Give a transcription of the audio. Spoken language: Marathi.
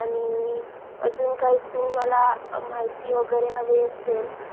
आणि मी अजून काय तुम्हाला माहिती वगैरे हवी असेल